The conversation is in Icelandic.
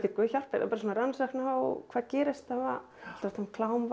Guð hjálpi þér svona rannsókn á hvað gerist